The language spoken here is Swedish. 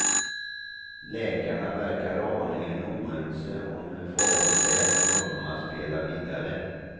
Läkarna verkar aningen oense om hur farligt det är för honom att spela vidare.